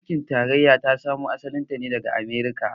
Mulkin tarayya ta samo asalin ta ne daga Amurka.